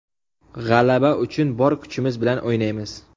G‘alaba uchun bor kuchimiz bilan o‘ynaymiz.